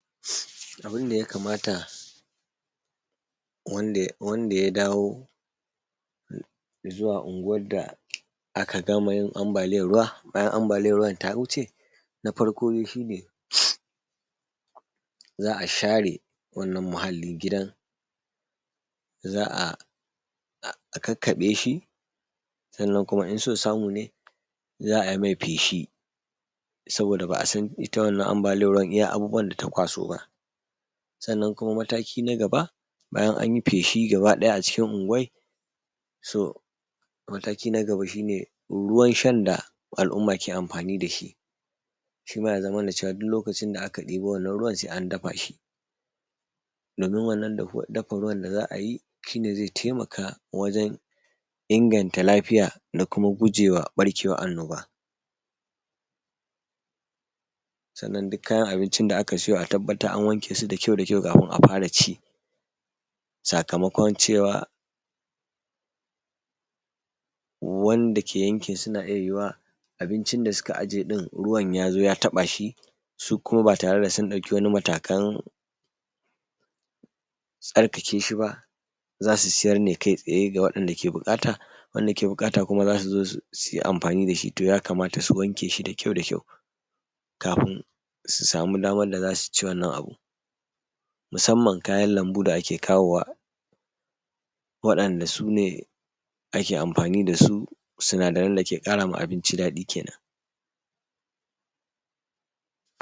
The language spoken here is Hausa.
Abunda yakamata wande wande ya dawo, zuwa unguwan da aka gama ambaliyar ruwa, bayan ambaliyar ruwan ta wuce. Na farko shine, za’a share wannan muhallin gidan., Za’a kakkaɓeshi. Sannan kuma inso samune, za’ai mai feshi saboda ba’asan ita wannan ambaliyar ruwan, iya abubuwan data kwaso ba. Sannan kuma mataki nagaba, bayan anyi feshi gabaɗaya acikin unguwar. So mataki na gaba shine, ruwan shan da al’umma ke amfani dashi, Shima yazamanacewa duk lokacin aka ɗiba wannan ruwan se an dafashi. Domin wannan dafa ruwan da za’ayi, hine ze taimaka wajen inganta lafiya da kuma gujewa ɓarkewar annoba. Sannan duk kayan abincin da’aka siyo atabbatar an wankesu da kyau da kyau kafin afara ci. ,Saka makon cewa, wanda ke yankin suna iya yuwuwar abincin da suka aje ɗin ruwan yazo ya taɓashi su kuma batare da sun ɗauki wani matakan, tsarkakeshiba, zasu siyar ne kai tsaye ga wadanda ke bukata. Wanda ke bukata kuma zasu zo su suyi amfani dashi, to yakamata su wankeshi da kyau da kyau kafin su sama daman da zasuci wannan abu. Musamman kayan lambu da’ake kawowa, waɗanda sune ake amfani dasu suna daren dake ƙarama abinci dadi kenan.